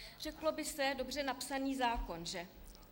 - Řeklo by se dobře napsaný zákon, že?